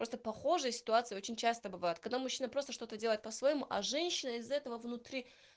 просто похожая ситуация очень часто бывает когда мужчина просто что-то делает по-своему а женщина из этого внутри